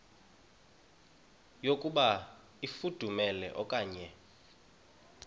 yokuba ifudumele okanye